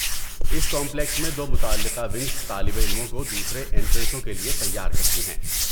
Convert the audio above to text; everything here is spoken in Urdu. اسی کمپلیکس میں دو متعلقہ ونگز طالب علموں کو دوسرے اینٹرنسوں کے لیے تیار کرتی ہیں۔